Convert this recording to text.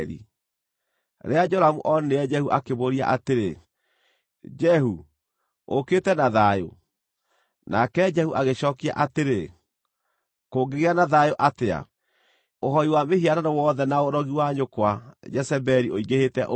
Rĩrĩa Joramu onire Jehu, akĩmũũria atĩrĩ, “Jehu, ũũkĩte na thayũ?” Nake Jehu agĩcookia atĩrĩ, “Kũngĩgĩa na thayũ atĩa, ũhooi wa mĩhianano wothe na ũrogi wa nyũkwa, Jezebeli, ũingĩhĩte ũũ?”